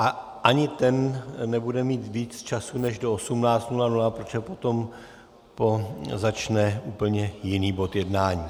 A ani ten nebude mít víc času než do 18.00, protože potom začne úplně jiný bod jednání.